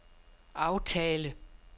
aftale